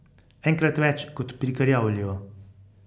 Enkrat več kot pri Krjavlju.